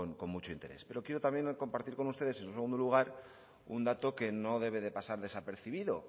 con mucho interés pero quiero también compartir con ustedes en segundo lugar un dato que no debe de pasar desapercibido